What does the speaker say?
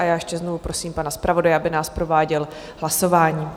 A já ještě znovu prosím pana zpravodaje, aby nás prováděl hlasováním.